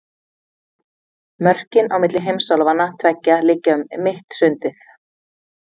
Mörkin á milli heimsálfanna tveggja liggja um mitt sundið.